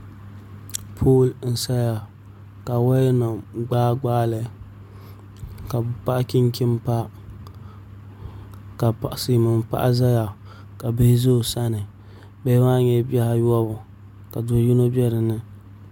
Pool n saya ka woya nim gbaa gbaali ka bi paɣi chinchin pa ka silmiin paɣa ʒɛya ka bihi ʒɛ o sani bihi maa nyɛla bihi ayobu ka do yino bɛ dinni